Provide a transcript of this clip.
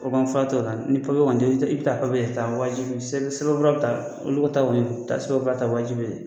O kɔni fura t'o la ni papiye kɔni te yen i bi taa papiye de ta o ye sɛbɛn sɛbɛn fura bi ta obiligatoire y'o ye